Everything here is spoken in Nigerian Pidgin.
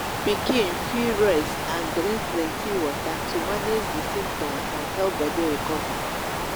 pikin fit rest and drink plenty water to manage di symptoms and help body recover